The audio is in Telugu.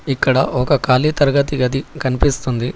ఇక్కడ ఒక ఖాళీ తరగతి గది కనిపిస్తుంది.